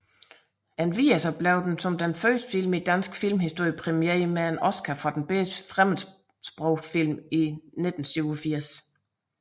Endvidere blev den som første film i dansk filmhistorie præmieret med en Oscar for bedste fremmedsprogede film i 1987